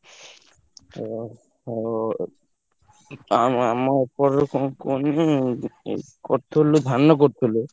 ଓ ହୋ ଆଉ ଆମ ଏପଟରେ କଣ କୁହନି ଗୋଟେ କରିଥିଲୁ ଧାନ କରିଥିଲୁ।